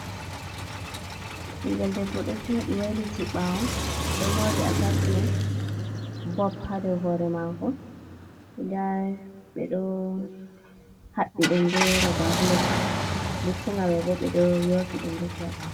Ɓingel debbo ɗo joɗi wailiti ɓawo ɗo mori atachmen. Bob ha dou hore mako nda ɓeɗo haɓɓi ɗum be roba-bilet. Lutti'nga maibo ɓeɗo yofi ɗum rufi ha ɓawo.